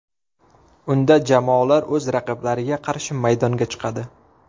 Unda jamoalar o‘z raqiblariga qarshi maydonga chiqadi.